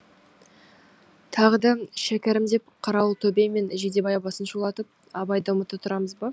тағы да шәкәрім деп қарауылтөбе мен жидебай басын шулатып абайды ұмыта тұрамыз ба